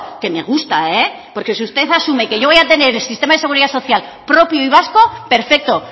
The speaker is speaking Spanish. que me gusta porque si usted asume que yo voy a tener el sistema de seguridad social propio y vasco perfecto